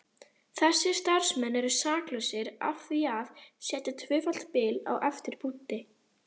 Þessir starfsmenn eru saklausir af því að setja tvöfalt bil á eftir punkti.